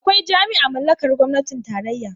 Akwai jami'a mallakar gwamnatin tarayya.